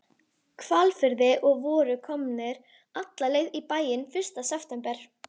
Hvalfirði og voru komnir alla leið í bæinn fyrsta september.